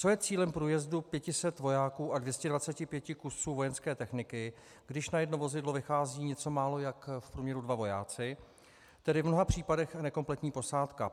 Co je cílem průjezdu 500 vojáků a 225 kusů vojenské techniky, když na jedno vozidlo vychází něco málo jak v průměru dva vojáci, tedy v mnoha případech nekompletní posádka?